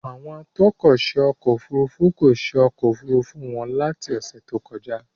Àwọn atọ́kọ̀ṣe ọkọ òfurufú kò ṣe ọkọ̀ Òfurufú wọn láti ọ́sẹ̀ tó kọjá.